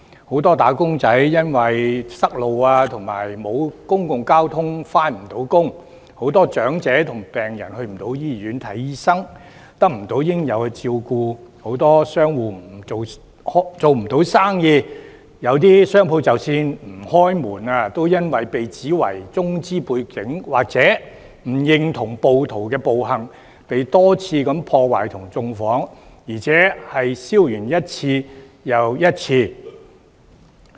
很多"打工仔"因為堵路及沒有公共交通工具而未能上班，很多長者和病人去不到醫院看病、得不到應有的照顧，很多商戶做不到生意，有些商戶即使不開門，仍然因為被指為中資背景或不認同暴徒的暴行而被多次破壞和縱火，而且燒完一次又一次。